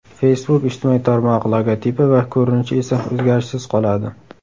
Facebook ijtimoiy tarmog‘i logotipi va ko‘rinishi esa o‘zgarishsiz qoladi.